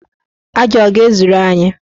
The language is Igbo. Aja a ọ ga-ezuru anyị?